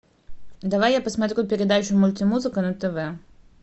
давай я посмотрю передачу мультимузыка на тв